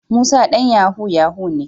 Musa dan yahoo yahoo ne.